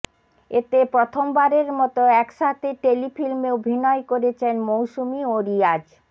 এতে প্রথম বারের মত একসাথে টেলিফিল্মে অভিনয় করেছেন মৌসুমী ও রিয়াজ